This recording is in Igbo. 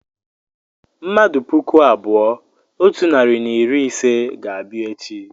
mmadụ puku abụọ otu narị na iri ise ga-abịa echi